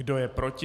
Kdo je proti?